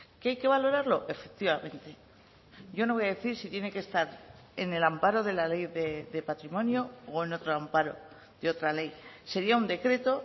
que hay que valorarlo efectivamente yo no voy a decir si tiene que estar en el amparo de la ley de patrimonio o en otro amparo de otra ley sería un decreto